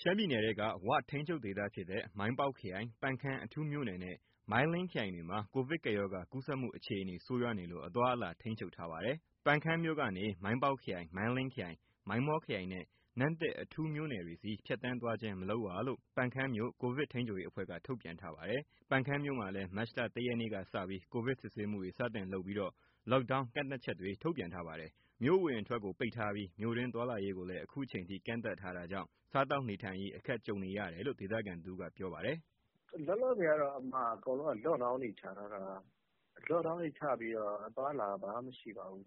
ရှမ်းပြည်နယ်ထဲက ဝ ထိန်းချုပ်ဒေသဖြစ်တဲ့ မိုင်းပေါက်ခရိုင်၊ ပန်ခမ်းအထူးမြို့နယ်နဲ့ မိုင်းလင်းခရိုင်တွေမှာ ကိုဗစ်ကပ်ရောဂါ ကူးစက်မှုအခြေအနေ ဆိုးရွားနေလို့ အသွားအလာထိန်းချုပ်ထားပါတယ်။ ပန်းခမ်းမြို့ကနေ မိုင်းပေါက်ခရိုင်၊ မိုင်းလင်းခရိုင်၊ မိုင်းမောခရိုင်နဲ့ နမ့်တစ်အထူးမြို့နယ်တွေဆီ ဖြတ်သန်းသွားခြင်း မလုပ်ရလို့ ပန်ခမ်းမြို့ ကိုဗစ်ထိန်းချုပ်ရေးအဖွဲ့က ထုတ်ပြန်ထားပါတယ်။ ပန်ခမ်းမြို့မှာလည်း မတ်လ ၁ ရက်ကစပြီး ကိုဗစ်စစ်ဆေးမှုတွေ စတင်လုပ်ပြီး Lockdown ကန့်သတ်ချက်တွေ ထုတ်ပြန်ထားပါတယ်။ မြို့အဝင်အထွက် ပိတ်ထားပြီး မြို့တွင်းသွားလာရေးကိုလည်း အခုချိန်ထိ ကန့်သတ်ထားတာကြောင့် စားသောက်နေထိုင်ရေး အခက်ကြုံနေတယ်လို့ ဒေသခံတဦးက ပြောပါတယ်။ “လောလောဆယ်ကတော့ အကုန်လုံးက လော့ဒေါင်းတွေချပြီးတော့ အသွားအလာဘာမှ မရှိပါဘူး။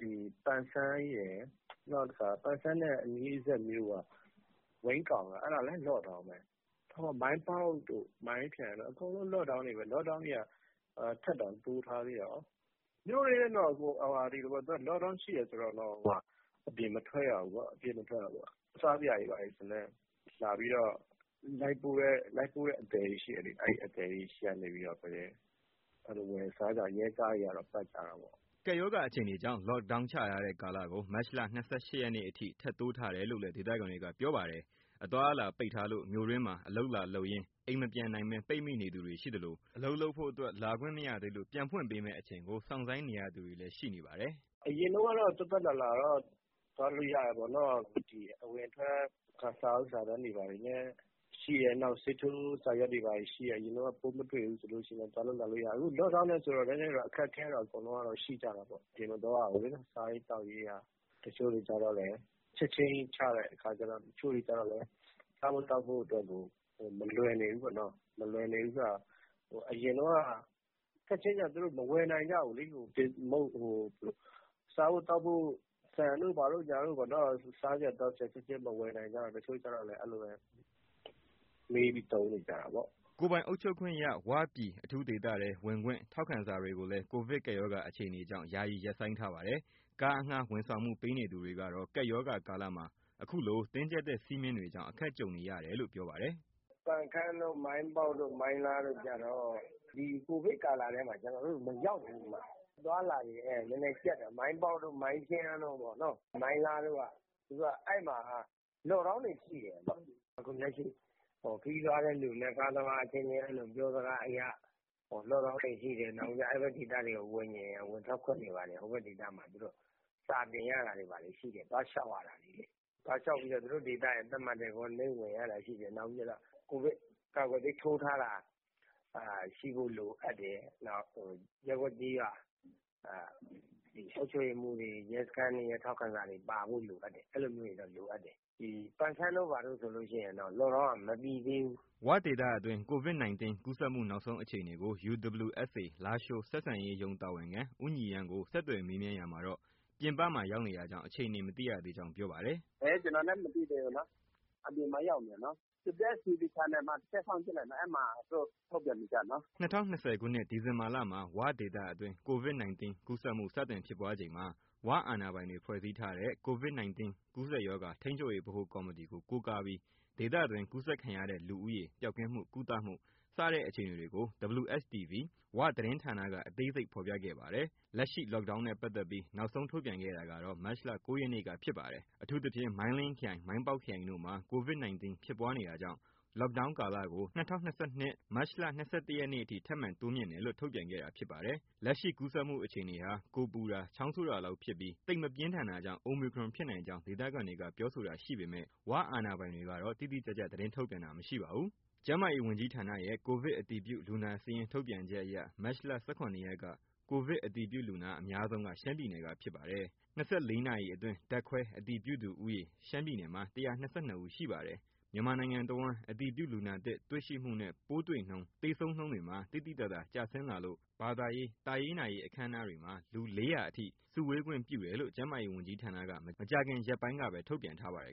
ဒီ ပန်ဆန်းရယ်၊ နောက်တခါ ပန်ဆန်းရဲ့ အနီးမြို့က ဝိန်းကောင်လည်း လော့ဒေါင်းပဲ။ မိုင်းပေါက်တို့၊ မိုင်းခရိုင်တို့ အကုန်လုံး လော့ဒေါင်းတွေပဲ။ လော့ဒေါင်းတွေက ထပ်တောင်တိုးထားသေးတယ်။ မြို့တွင်းတော့ သူကလော့ဒေါင်းရှိတယ် ဆိုရင်တော့ အပြင်မထွက်ရဘူးပေါ့။ စားစရာတွေ ဘာတွေဆိုရင်လည်း လာပြီးတော့ လိုက်ပို့တဲ့အသယ်တွေ ရှိတယ်လေ။ အဲဒီအသယ်တွေဆီကနေပဲ ဝယ်စားရတာပေါ့။ ရဲကားတွေကတော့ ပတ်ကြတာပေါ့။” ကပ်ရောဂါအခြေအနေကြောင့် လော့ဒေါင်းချထားတဲ့ ကာလကို မတ်လ ၂၈ ရက်နေ့အထိ ထပ်တိုးထားတယ်လို့လည်း ဒေသခံတွေက ပြောပါတယ်။ အသွားအလာပိတ်ထားလို့ မြို့တွင်းမှာအလုပ်လာလုပ်ရင်း အိမ်မပြန်နိုင်ဘဲ ပိတ်မိသူတွေရှိနေသလို၊ အလုပ်လုပ်ဖို့အတွက် လာခွင့်မရသေးလို့ ပြန်ဖွင့်ပေးမယ့်အချိန်ကို စောင့်ဆိုင်းနေရသူတွေလည်း ရှိနေပါတယ်။ “အရင်တုန်းကတော့ သွားသွားလာလာတော့ သွားလို့ရတာပေါ့နော်။ ဒီ အဝင်အထွက် စာအုပ်စာတမ်းတွေ ဘာတွေလည်းရှိတယ်၊ ဆေးထိုးစာရွက်တွေလည်း ရှိတယ်၊ ပိုးမတွေ့ဘူးဆိုရင် သွားလို့လာလို့ရတယ်။ အခု လော့ဒေါင်းနဲ့ဆိုတော့ အခက်အခဲကတော့ အားလုံးရှိကြတာပေါ့။ အပြင်မသွားရဘူးလေ။ စားရေးသောက်ရေးက တချို့တွေကျတော့လည်း လော့ဒေါင်းချက်ချင်းကြီး ချတဲ့အခါကျတော့ စားဖို့သောက်ဖို့ကို မလွယ်နေဘူးပေါ့နော်။ မလွယ်နေဘူးဆိုတာ ချက်ချင်းချတော့ သူတို့မဝယ်နိုင်ကြဘူးလေ။ စားဖို့သောက်ဖို့ ဆန်တို့ ဘာတို့ပေါ့နော်။ စားစရာ သောက်စရာချက်ချင်း မဝယ်နိုင်ကြတော့ တချို့တွေကျတော့လည်း မှေးပြီးသုံးနေကြတာပေါ့။” ကိုယ်ပိုင်အုပ်ချုပ်ခွင့်ရ ဝ ပြည်အထူးဒေသထဲ ဝင်ခွင့် ထောက်ခံစာတွေကိုလည်း ကိုဗစ်ကပ်ရောဂါ အခြေအနေကြောင့် ယာယီရပ်ဆိုင်းပါတယ်။ ကားအငှားဝန်ဆောင်မှု ပေးနေသူတွေကတော့ ကပ်ရောဂါကာလမှာ အခုလိုတင်းကြပ်ထားတဲ့ စည်းမျဉ်းတွေကြောင့် အခက်ကြုံနေတယ်လို့ ပြောပါတယ်။ “ပန်ခမ်း၊ မိုင်းပေါက်၊ မိုင်းလားတို့ကျတော့ ဒီကိုဗစ်ကာလထဲမှာ ကျနော်တို့ မရောက်ဘူး။ အသွားအလာတွေက နည်းနည်းကျပ်တယ်။ မိုင်းပေါက်တို့၊ မိုင်းခရိုင်တို့၊ မိုင်းလားတို့က လော့ဒေါင်းတွေရှိတယ်။ အခုလက်ရှိ ခရီးသွားတဲ့လူနဲ့ ကားသမားအချင်းချင်း ပြောစကားအရ လော့ဒေါင်းတွေရှိတယ်။ နောက်ပြီးတော့ အဲဒီဒေသမှာ ဝင်ထွက်ခွင့်တွေက စာတင်ရတာတွေ၊ သွားလျှောက်ရတာတွေ ရှိတယ်။ သွားလျှောက်ပြီးတော့ သူတို့ဒေသက သတ်မှတ်တဲ့ Quarantine ဝင်ရတာရှိတယ်။ ကိုဗစ်ကာကွယ်ဆေး ထိုးထားတာ ရှိဖို့လိုအပ်တယ်။ ရပ်ကွက်၊ ကျေးရွာ အုပ်ချုပ်ရေးမှူးတွေ၊ ရဲစခန်းတွေရဲ့ ထောက်ခံစာတွေပါဖို့ အဲလိုမျိုးတွေတော့ လိုအပ်တယ်။ ဒီပန်ခမ်းတို့ ဘာတို့ဆိုရင်တော့ လော့ဒေါင်းက မပြေသေးဘူး။” ၀ ဒေသအတွင်း Covid 19 ကူးစက်မှုနောက်ဆုံးအခြေအနေကို UWSA လားရှိုးဆက်ဆံရေးရုံး တာဝန်ခံ ဦးညီရန်းကို ဆက်သွယ်မေးမြန်းရာမှာတော့ ပြင်ပမှာ ရောက်နေတာကြောင့် အခြေအနေ မသိရကြောင်း ပြောပါတယ်။ “ ကျနော်လည်း မသိသေးဘူးနော်။ အပြင်မှာ ရောက်နေတယ်နော်။ WSTV မှာ တစ်ချက် စောင့်ကြည့် လိုက်နော်။ အဲဒီမှာ သူတို့ ထုတ်ပြန်နေကျ နော်။” ၂၀၂၀ခုနှစ် ဒီဇင်ဘာလမှာ ဝဒေသအတွင်း Covid 19 ကူးစက်မှု စတင်ဖြစ်ပွားချိန်မှာ ဝအာဏာပိုင်တွေ ဖွဲ့စည်းထားတဲ့ Covid 19 ကူးစက်ရောဂါ ထိန်းချုပ်ရေးဗဟိုကော်မတီ ကို ကိုးကားပြီး ဒေသတွင်း ကူးစက်ခံရတဲ့ လူဦးရေ၊ ပျောက်ကင်းမှု၊ ကုသမှု စတဲ့အခြေအနေတွေကို WSTV ၀ သတင်းဌာနက အသေးစိတ်ဖော်ပြခဲ့ပါတယ်။ လက်ရှိ Lockdown နဲ့ပါတ်သက်ပြီး နောက်ဆုံးထုတ်ပြန်ခဲ့တာကတော့ မတ်လ ၉ ရက်နေ့က ဖြစ်ပါတယ်။ အထူးသဖြင့် မိုင်းလင်းခရိုင်နှင့် မိုင်းပေါက်ခရိုင်တို့မှာ Covid 19 ဖြစ်ပွားနေတာကြောင့် lockdown ကာလကို ၂၀၂၂ မတ်လ၊ ၂၁ နေ့အထိ ထပ်မံတိုးမြှင့်တယ်လို့ ထုတ်ပြန်ခဲ့တာဖြစ်ပါတယ်။ လက်ရှိကူးစက်မှုအခြေအနေဟာ ကိုယ်ပူတာ၊ ချောင်းဆိုးတာလောက်ဖြစ်ပြီး သိပ်မပြင်းထန်တာကြောင့် Omicron ဖြစ်နိုင်ကြောင်း ဒေသခံတွေက ပြောဆိုတာ ရှိပေမဲ့ ၀ အာဏာပိုင်တွေကတော့ တိတိကျကျ သတင်း ထုတ်ပြန်တာမရှိပါဘူး။ ကျန်းမာရေးဝန်ကြီးဌာနရဲ့ ကိုဗစ်အတည်ပြုလူနာစာရင်းထုတ်ပြန်ချက်အရ မတ်လ ၁၇ ရက်က ကိုဗစ် အတည်ပြုလူနာအများဆုံးက ရှမ်းပြည်နယ်က ဖြစ်ပါတယ်။ ၂၄ နာရီအတွင်း ဓာတ်ခွဲအတည်ပြုသူဦးရေ ရှမ်းပြည်နယ်မှာ ၁၂၂ ဦး ရှိပါတယ်။ မြန်မာနိုင်ငံတဝန်း အတည်ပြုလူနာသစ် တွေ့ရှိမှုနဲ့ ပိုးတွေ့နှုန်း၊ သေဆုံးနှုန်းတွေမှာ သိသိသာသာ ကျဆင်းလာလို့ ဘာသာရေး၊ သာရေးနာရေး အခမ်းအနားတွေမှာ လူ ၄ဝဝ အထိ စုဝေးခွင့်ပြုတယ်လို့ ကျန်းမာရေးဝန်ကြီးဌာနက မကြာခင်ရက်ပိုင်းကပဲ ထုတ်ပြန်ထားပါတယ်